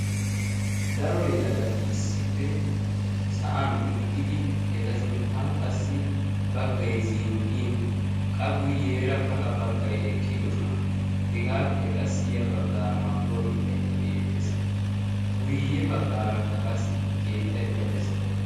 daro yelagati issippe sa7an uttidi eta sinttan qassi baggai zin77in qa guyyeera kaqa baggai eqqidosona hegaappe qassi ya baggaara mangguwaa mittaikka beettees guyye baggaara kaqassi keettaikka dees